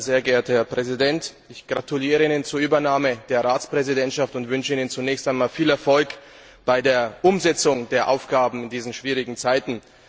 Sehr geehrter Herr Präsident, ich gratuliere Ihnen zur Übernahme der Ratspräsidentschaft und wünsche Ihnen zunächst einmal viel Erfolg bei der Umsetzung der Aufgaben in diesen schwierigen Zeiten!